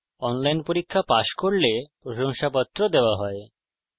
যারা online পরীক্ষা pass করে তাদের প্রশংসাপত্র দেওয়া হয়